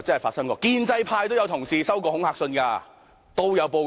其實，建制派也有同事收過恐嚇信，之後還報警。